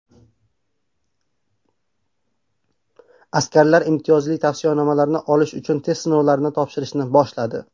Askarlar imtiyozli tavsiyanomalarni olish uchun test sinovlarini topshirishni boshladi.